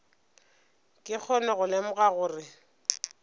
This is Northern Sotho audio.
ke kgone go lemoga gore